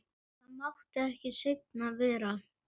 Það mátti ekki seinna vera!